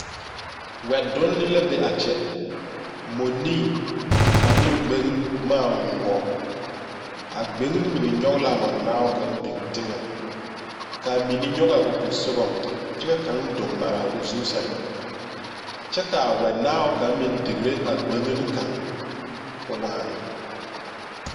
Wɛ donne la be a kyɛ ,mɔnee ane gbenne boma ayoobo a gbenne mine nyoŋ la a mɔnaao kaŋ biŋ teŋa kaa mine nyoŋ o posoŋa kyɛ ka kaŋ doge maraa o zu saŋ, kyɛ kaa wɛnaao kaŋ meŋ digre a gbenne kaŋ ko waana .